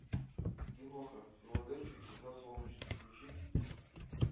киноха в филадельфии всегда солнечно включи